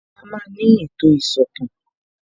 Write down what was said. Ìgbà wo ni a máa ní ètò ìsọ̀tàn